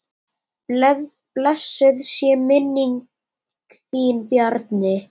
Blessuð sé minning þín Bjarni.